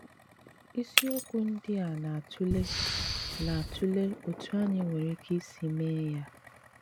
Ísíokwu ndí à na-àtụ́lè na-àtụ́lè ótú ányị́ nwéré íké ísì méé yá.